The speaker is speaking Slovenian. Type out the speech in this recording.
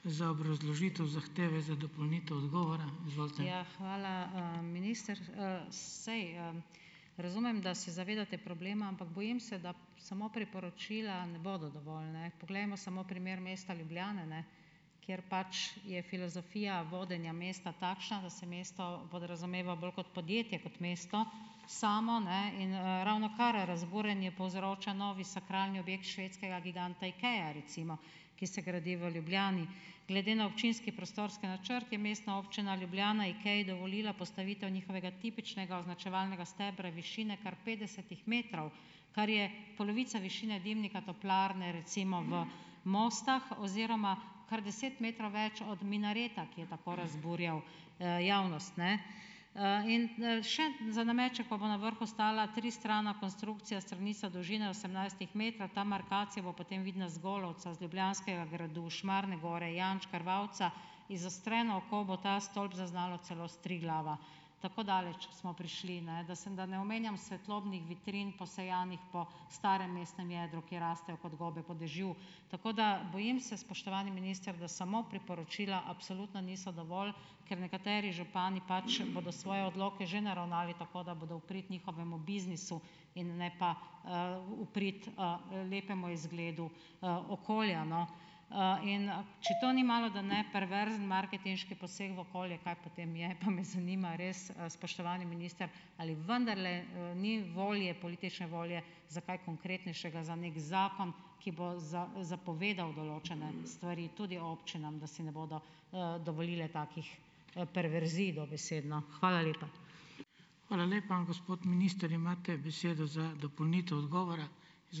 Hvala. Minister, saj, razumem, da se zavedate problema, ampak bojim se, da samo priporočila ne bodo dovolj, ne. Poglejmo samo primer mesta Ljubljana, ne, kjer pač je filozofija vodenja mesta takšna, da se mesto podrazumeva bolj kot podjetje kot mesto samo, ne, in, ravnokar razburjanje povzroča novi sakralni objekt švedskega giganta Ikee, recimo, ki se gradi v Ljubljani. Glede na občinski prostorski načrt je Mestna občina Ljubljana Ikei dovolila postavitev njihovega tipičnega označevalnega stebra višine kar petdesetih metrov, kar je polovica višine dimnika toplarne recimo v Mostah oziroma kar deset metrov več od minareta, ki je tako razburjal, javnost, ne. In, še za nameček pa bo na vrhu stala tristrana konstrukcija, stranica dolžine osemnajstih metrov. Ta markacija bo potem vidna z Golovca, z Ljubljanskega gradu, Šmarne gore, janš Krvavca. Izostreno oko bo ta stolp zaznalo celo s Triglava. Tako daleč smo prišli, ne da da ne omenjam svetlobnih vitrin posejanih po starem mestnem jedru, kjer rastejo kot gobe po dežju. Tako da bojim se, spoštovani minister, da samo priporočila absolutno niso dovolj, ker nekateri župani pač bodo svoje odloke že naravnali tako, da bodo v prid njihovemu biznisu in ne pa, v prid, lepemu izgledu, okolja, no. In, če to ni malodane perverzen marketinški poseg v okolje, kaj potem je? Pa me zanima res, spoštovani minister, ali vendarle, ni volje, politične volje, za kaj konkretnejšega? Za neki zakon, ki bo zapovedal določene stvari tudi občinam, da si ne bodo, dovolile takih, perverzij, dobesedno. Hvala lepa.